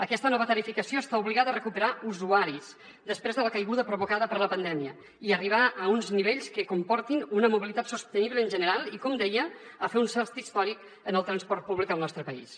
aquesta nova tarifació està obligada a recuperar usuaris després de la caiguda provocada per la pandèmia i a arribar a uns nivells que comportin una mobilitat sostenible en general i com deia a fer un salt històric en el transport públic al nostre país